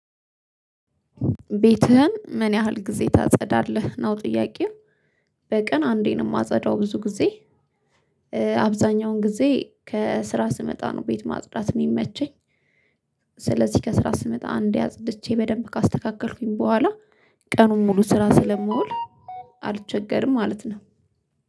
ቤትህን ምን ያህል ጊዜ ታጸዳለህ ነው ጥያቄው በቀን አንዴ ነው ማጸዳው ብዙ ጊዜ አብዛኛውን ጊዜ ከስራ ስመጣ ነው ቤት ማጽዳት ነው ሚመቸኝ፤ ስለዚህ ከስራ ስመጣ አንዴ አጽድቼ በደንብ ካስተካከልኩኝ በኋላ ቀኑን ሙሉ ስራ ስለምውል አልቸገርም ማለት ነው።